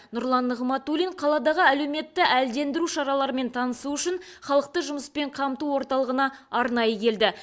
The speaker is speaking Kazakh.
нұрлан нығматулин қаладағы әлеуметті әлдендіру шараларымен танысу үшін халықты жұмыспен қамту орталығына арнайы келді